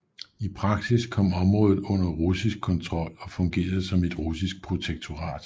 I praksis kom området under russisk kontrol og fungerede som et russisk protektorat